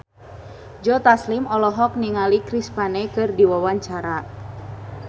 Joe Taslim olohok ningali Chris Pane keur diwawancara